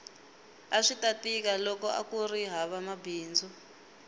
aswita tika loko akuri hava mabindzu